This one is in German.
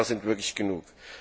10 Jahre sind wirklich genug.